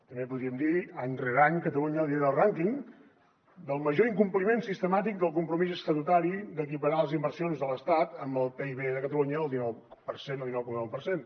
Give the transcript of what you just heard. també podríem dir any rere any catalunya lidera el rànquing del major incompliment sistemàtic del compromís estatutari d’equiparar les inversions de l’estat amb el pib de catalunya el dinou per cent o dinou coma nou per cent